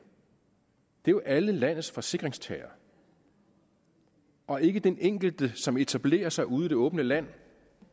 jo er alle landets forsikringstagere og ikke den enkelte som etablerer sig ude i det åbne land